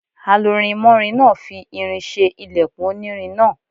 Alurinmọ́rin náà fi irin ṣe ilẹkùn onírin náà.